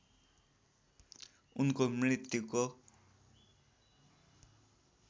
उनको मृत्युको